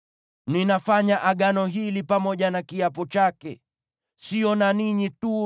Ninafanya Agano hili pamoja na kiapo chake, sio na ninyi tu